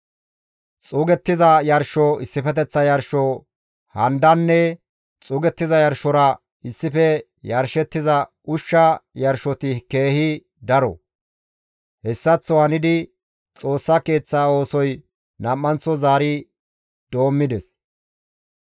Xuugettiza yarsho, issifeteththa yarsho handanne xuugettiza yarshora issife yarshettiza ushsha yarshoti keehi daro. Hessaththo hanidi Xoossa Keeththaa oosoy nam7anththo zaari doommides.